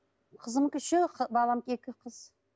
қызымдікі үшеу баламдікі екі қыз